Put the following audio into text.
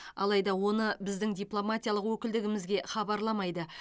алайда оны біздің дипломатиялық өкілдігімізге хабарламайды